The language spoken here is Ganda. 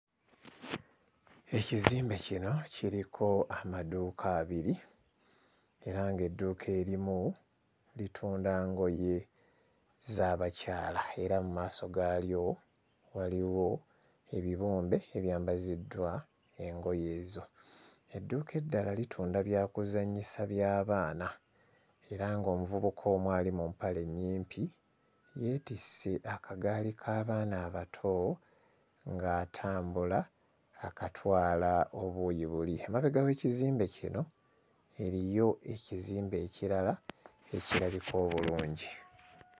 Ekizimbe kino kiriko amaduuka abiri era ng'edduuka erimu litunda ngoye z'abakyala era mu maaso gaalyo waliwo ebibumbe ebyambaziddwa engoye ezo. Edduuka eddala litunda byakuzannyisa by'abaana era ng'omuvubuka omu ali mu mpale ennyimpi yeetisse akagaali k'abaana abato ng'atambula akatwala obuuyi buli. Emabega w'ekizimbe kino eriyo ekizimbe ekirala ekirabika obulungi.